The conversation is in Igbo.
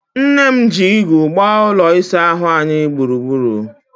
Nne m ji igu gbaa ụlọ isaahụ anyị gburugburu.